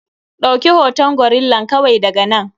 Ɗauki hoton gorillan kawai daga nan.